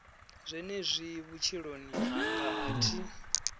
zwenezwi vhutshiloni hanga a thi